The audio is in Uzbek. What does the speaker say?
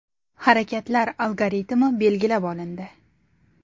Harakatlar algoritmi belgilab olindi.